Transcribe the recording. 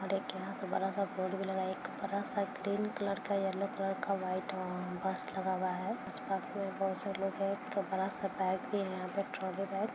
और एक यहाँ से बड़ा सा बोर्ड भी लगा है एक बड़ा सा ग्रीन कलर का येलो कलर का वाइट अ बस लगा हुआ है उस बस में बहोत से लोग है एक बड़ा सा बैग भी है यहाँ पे ट्रॉली बैग --